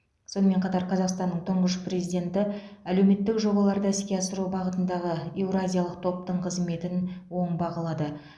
сонымен қатар қазақстанның тұңғыш президенті әлеуметтік жобаларды іске асыру бағытындағы еуразиялық топтың қызметін оң бағалады